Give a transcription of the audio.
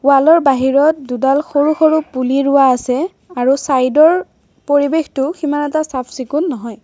Wall ৰ বাহিৰত দুডাল সৰু-সৰু পুলি ৰোৱা আছে আৰু চাইড ৰ পৰিৱেশটো সিমান এটা চাফ চিকুন নহয়।